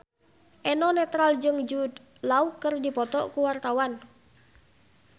Eno Netral jeung Jude Law keur dipoto ku wartawan